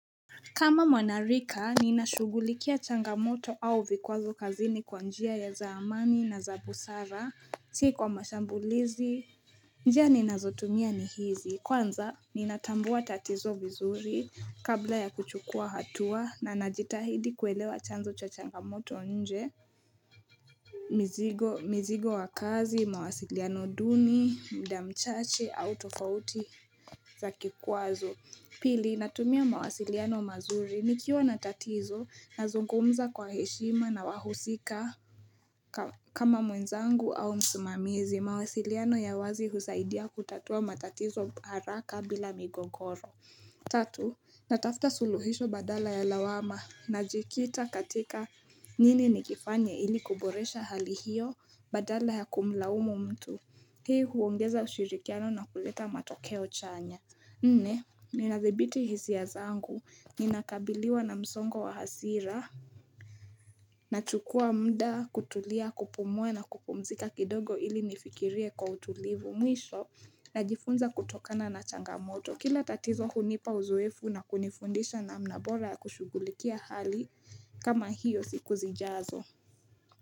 Kama mwanarika, ninashugulikia changamoto au vikwazo kazini kwa njia za amani na za busara, sio kwa mashambulizi, njia ninazotumia ni hizi, kwanza ninatambua tatizo vizuri kabla ya kuchukua hatua na najitahidi kuelewa chanzo cho changamoto nje, mzigo, mzigo wa kazi, mawasiliano duni, mda mchache, au tofauti za kikwazo. Pili natumia mawasiliano mazuri nikiwa na tatizo nazungumza kwa heshima na wahusika kama mwenzangu au msimamizi mawasiliano ya wazi husaidia kutatua matatizo haraka bila migogoro Tatu natafuta suluhisho badala ya lawama najikita katika nini nikifanye ili kuboresha hali hiyo badala ya kumlaumu mtu. Hii huongeza ushirikiano na kuleta matokeo chanya Nne, ninadhibiti hisia zangu, ninakabiliwa na msongo wa hasira Nachukua muda kutulia, kupumua na kupumzika kidogo ili nifikirie kwa utulivu mwisho Najifunza kutokana na changamoto kila tatizo hunipa uzuefu na kunifundisha namna bora ya kushughulikia hali kama hiyo siku zijazo.